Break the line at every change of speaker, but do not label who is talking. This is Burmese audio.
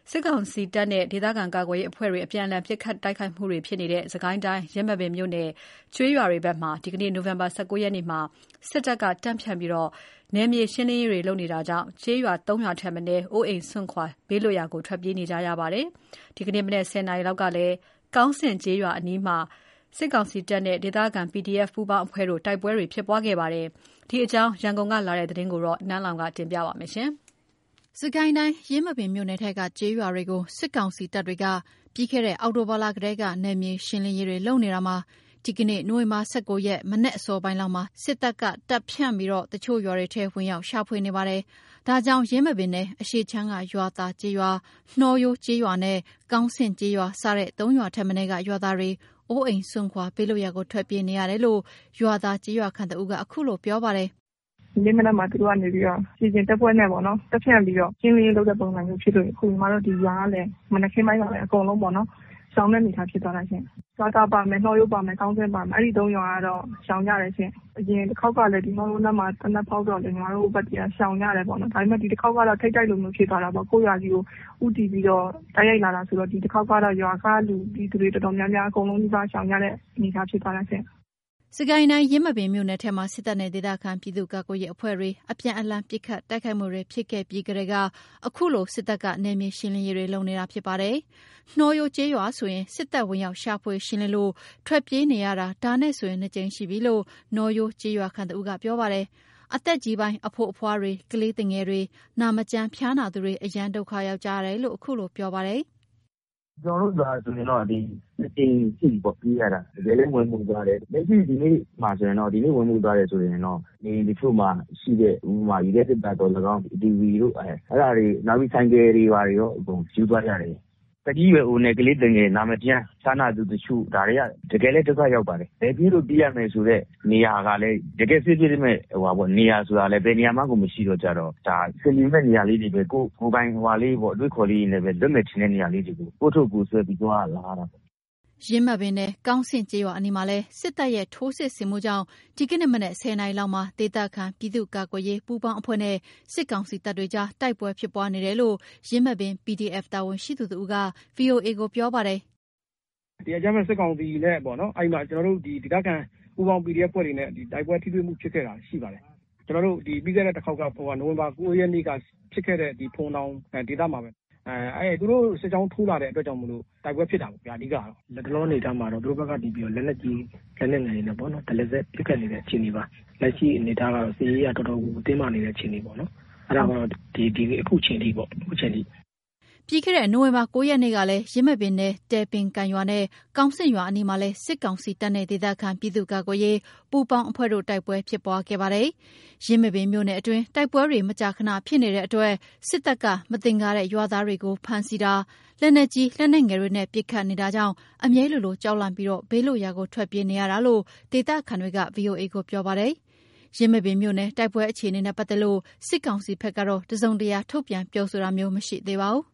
စစ်ကောင်စီတပ်နဲ့ ဒေသခံကာကွယ်ရေးအဖွဲ့တွေ အပြန်အလှန်ပစ်ခတ်တွနေတဲ့ စစ်ကိုင်းတိုင်း ယင်းမာပင်မြို့နယ် ကျေးရွာတွေဘက်မှာ ဒီနေ့ နိုဝင်ဘာ ၁၉ ရက်နေ့မှာ စစ်တပ်တွေ တပ်ဖြန့်ပြီး နယ်မြေရှင်းလင်းရေးလုပ်တာကြောင့် ကျေးရွာ ၃ ရွာထက်မနည်း အိုးအိမ်စွန့်ခွာ ဘေးလွတ်ရာကို ထွက်ပြေးနေကြရပါတယ်။ ဒီနေ့ မနက် ၁၀ နာရီလောက်ကလည်းကောင်းဆင့်ကျေးရွာအနီးမှာ စစ်ကောင်စီနဲ့ ဒေသခံ PDF ပူးပေါင်းအဖွဲ့တို့ တိုက်ပွဲဖြစ်ပွားခဲ့ပါတယ်။ ဒီအကြောင်း ရန်ကုန်ကလာတဲ့ သတင်းကို နန်းလောင်ဝ်က တင်ပြပေးထားပါတယ်
။ စစ်ကိုင်းတိုင်း ယင်းမာပင်မြို့နယ်ထဲက ကျေးရွာတွေကို စစ်ကောင်စီတပ်တွေက ပြီးခဲ့တဲ့ အောက်တိုဘာလထဲက နယ်မြေရှင်းလင်းရေးတွေ လုပ်နေတာမှာ ဒီနေ့ နိုဝင်ဘာ ၁၉ ရက် ဒီနေ့ မနက်အစောပိုင်းလောက်မှာ စစ်တပ်ကတပ်ဖြန့်ပြီး တချို့ ရွာတွေထဲ ဝင်ရောက် ရှာဖွေမှုနေပါတယ်။ ဒါကြောင့် ယင်းမာပင်နယ် အရှေ့ခြမ်းက ရွာသာကျေးရွာ၊ နှောရိုးကျေးရွာနဲ့ ကောင်းဆင့်ကျေးရွာ၊ စတဲ့ ၃ ရွာထက်မနည်းက ရွာသားတွေအိုးအိမ်စွန်ခွာ ဘေးလွတ်ရာကို ထွက်ပြေးနေကြရတယ်လို့ ရွာသာကျေးရွာခံတဦးက အခုလို ပြောပါတယ်။ “ဒီနေ့ မ
နက်မှာ သူတို့ကနေပြီးတော့ ခြေလျင်တပ်ဖွဲ့နဲ့ပေါ့နော်၊ တပ်ဖြန့်ပြီးတော့ ရှင်းလင်းရေးလုပ်တဲ့ ပုံစံမျိုး ဖြစ်လို့ အခုညီမတို့ဒီရွာကလည်း မနက်ခင်းပိုင်းပါပဲ အကုန်လုံးပေါ့နော်၊ရှောင်တဲ့အနေအထားဖြစ်သွားတာရှင့်၊ ရွာသာပါမယ်၊ နှောရိုးပါမယ်၊ ကောင်းဆင့်ပါမယ်၊ အဲ့ဒီသုံးရွာကတော့ ရှောင်ကြတယ်ရှင့်၊ အရင်တခေါက်ကလည်း ကျမတို့နားမှာ သေနတ်ဖောက်တော့လေ- ညီမတို့ဘက်က ရှောင်ကြတာပေါ့နော်၊ ဒါပေမယ့် ဒီတခေါက်ကတော့ ထိပ်တိုက်လိုမျိုးဖြစ်သွားတာပေါ့။ ကိုယ့်ရွာကြီးကို ဦးတည်ပြီးတော့ တိုက်ရိုက်လာတယ်ဆိုတော့ ဒီတခေါက်ကတော့ ရွာကလူတွေ တော်တော်များများ အကုန်လုံးနီးပါး ရှောင်ကြတဲ့ အနေအထားဖြစ်သွားတယ်။” စစ်က
ိုင်းတိုင်း ယင်းမာပင်မြို့နယ်ထဲမှာ စစ်တပ်နဲ့ ဒေသခံပြည်သူ့ကာကွယ်ရေးအဖွဲ့တွေ အပြန်အလှန် ပစ်ခတ်တိုက်ခိုက်ခဲ့ပြီးကတည်းက အခုလို စစ်တပ်က နယ်မြေရှင်းလင်းနေတာဖြစ်ပါတယ်။ နှောရိုးကျေးရွာဆိုရင် စစ်တပ် ဝင်ရောက် ရှာဖွေ ရှင်းလင်းလို့ ထွက်ပြေးနေရတာ ဒါနဲ့ဆိုရင် နှစ်ကြိမ်ရှိပြီလို့ နှောရိုးကျေးရွာခံ တဦးက ပြောပါတယ်။အသက်ကြီးပိုင်း အဖိုးအဖွားတွေ ကလေးသူငယ်တွေ နာမကျန်း ဖျားနာသူတွေ အရမ်းဒုက္ခ ရောက်ကြတယ်လို့ အခုလို ပြောပါတယ်။
“ကျနော်တို့ရွာဆိုရင်တော့ နှစ်ကြိမ်ရှိပြီပေါ့ ပြေးရတာ။ တကယ်လည်း ဝင်မွှေတယ်၊ လက်ရှိ ဒီနေ့ဝင်မွှေသွားတယ်ဆိုရင်တော့ နေအိမ်တချို့မှာရှိတဲ့ ဥပမာ ရေခဲသေတ္တာသော်လည်ကောင်း၊ TV တို့ အဲ့ဒါတွေ နောက်ပြီး ဆိုင်ကယ်တွေဘာတွေရော အကုန်ယူသွားကြတယ်ဗျ၊ သက်ကြီးရွယ်အိုနဲ့ ကလေးသူငယ်၊ နာမကျန်း ဖျားနာသူတချို့ ဒါတွေက တကယ်လည်း ဒုက္ခရောက်ပါတယ်။ ဘယ်ပြေးလို့ ပြေးရမယ်ဆိုတဲ့ နေရာကလည်း တကယ့် safe ဖြစ်မယ့်နေရာဆိုတာလည်း ဘယ်နေရာမှကို မရှိတော့ ဒါ အဆင်ပြေမယ့် နေရာလေးတွေပဲ ကိုယ့်ကိုယ်ပိုင် အတွေးအခေါ်တွေနဲ့ပဲ လွတ်မယ်ထင်တဲ့ နေရာလေးကို ကိုယ့်အထုပ်ကိုယ်ဆွဲပြီး သွားရလာရတာပေါ့။”
ယင်းမာပင်နယ် ကောင်းဆင့်ကျေးရွာအနီးမှာလည်းစစ်တပ်ရဲ့စစ်ထိုးဆင်မှုကြောင့် ဒီနေ့ မနက် ၁၀ နာရီလောက်မှာ ဒေသခံ ပြည်သူ့ကာကွယ်ရေးပူးပေါင်းအဖွဲ့နဲ့ စစ်ကောင်စီတပ်တွေကြား တိုက်ပွဲဖြစ်ပွားနေတယ်လို့ ယင်းမာပင် PDF တာဝန်ရှိသူတစ်ဦးက VOA ကို ပြောပါတယ်။
“ကျနော်တို့ ပြီးခဲ့တဲ့တခေါက်က နိုဝင်ဘာ ၉ ရက်က ဖြစ်ခဲ့တဲ့ ဖိုဝင်တောင်ဒေသမှာပဲ၊ သူတို့ စစ်ကြောင်းထိုးလာတဲ့အတွက်ကြောင့်မို့လို့တိုက်ပွဲဖြစ်တာပေ့ါ အဓိကတော့။ လတ်တလောအနေအထားမှာတော့ သူတို့ကနေပြီးတော့ လက်နက်ကြီး လက်နက်ငယ်တွေနဲ့ပေါ့နော်၊ တရစပ် ပစ်ခတ်နေတဲ့ အခြေအနေပါ၊ လက်ရှိအနေအထားကတော့ စစ်ရေးအရ တော်တော်ကို တင်းမာနေတဲ့ အခြေအနေပေါ့နော်၊ အဲ့ဒါက အခုချိန်ထိပေ့ါ။”
ပြီးခဲ့တဲ့ နိုဝင်ဘာ ၉ ရက်နေ့ကလည်း ယင်းမာပင်နယ် တယ်ပင်ကန်ရွာနဲ့ ကောင်းဆင့်ရွာအနီးမှာလည်း စစ်ကောင်စီတပ်နဲ့ ဒေသခံ ပြည်သူ့ကာကွယ်ရေး ပူးပေါင်းအဖွဲ့တွေနဲ့ တိုက်ပွဲဖြစ်ပွားခဲ့ပါတယ်။ ယင်းမာပင်မြို့နယ်အတွင်း တိုက်ပွဲတွေ မကြာခဏဖြစ်နေတဲ့အတွက်၊ စစ်တပ်က မသင်္ကာတဲ့ ရွာသားတွေကို ဖမ်းဆီးတာ၊ လက်နက်ကြီး လက်နက်ငယ်တွေနဲ့ ပစ်ခတ်နေတာကြောင့် အမြဲလိုလို ကြောက်လန့်ပြီး ဘေးလွတ်ရာကို ထွက်ပြေးနေရတာလို့ ဒေသခံတွေက VOA ကို ပြောပါတယ်။ ယင်းမာပင်မြို့နယ် တိုက်ပွဲအခြေအနေနဲ့ ပတ်သက်လို့ စစ်ကောင်စီဘက်က တစုံတရာ ထုတ်ပြန် ပြောဆိုတာမျိုး မရှိသေးပါဘူး။